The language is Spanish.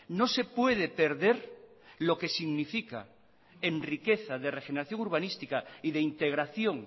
no se puede perder lo que significa en riqueza de regeneración urbanística y de integración